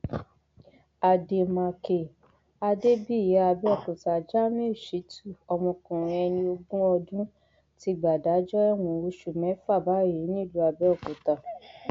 àdèmàkè adébíyì àbẹòkúta jamiu shitutu ọmọkùnrin ẹni ogún ọdún ti gbàdájọ ẹwọn oṣù mẹfà báyìí nílùú àbẹòkúta